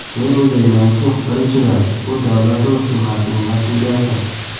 Men o‘ylaymanki, birinchidan, bu davlat va hukumatning mas’uliyati.